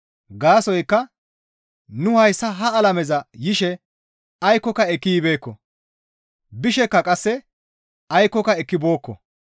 Gaasoykka nu hayssa ha alameza yishe aykkoka ekki yibeekko; bishekka qasse aykkoka ekki bookko.